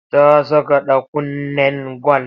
Ta saka ɗakunnen gwal.